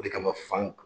O de kama fan